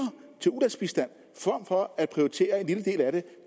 til ulandsbistand end